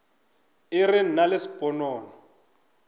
e re nna le sponono